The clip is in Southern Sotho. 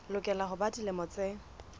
lokela ho ba dilemo tse